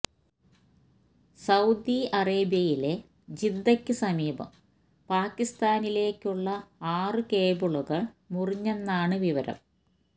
Saudi അറേബ്യയിലെ ജിദ്ദയ്ക്കു സമീപം പാക്കിസ്ഥാനിലേയ്ക്കുള്ള ആറു കേബിളുകൾ മുറിഞ്ഞെന്നാണ് വിവരം